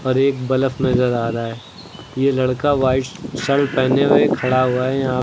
एक बलफ नजर आ रहा है ये लड़का व्हाइट शर्ट पहने हुए खड़ा हुआ है यहां--